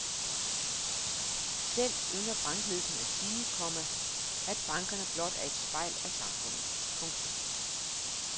Selv ynder bankledelserne at sige, komma at bankerne blot er et spejl af samfundet. punktum